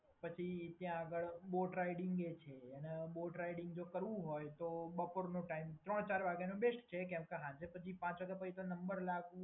પછી ત્યાં આગળ બોટ રાઇડિંગ પણ છે અને બોટ રાઇડિંગ જો કરવું હોય તો બપોરનો ટાઈમ, ત્રણ કે ચાર વાગ્યાનો બેસ્ટ છે કેમ કે સાંજે પછી પાંચ વાગ્યા પછી તો નંબર લાગવું